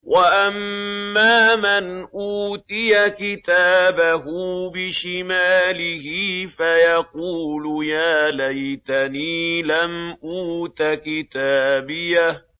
وَأَمَّا مَنْ أُوتِيَ كِتَابَهُ بِشِمَالِهِ فَيَقُولُ يَا لَيْتَنِي لَمْ أُوتَ كِتَابِيَهْ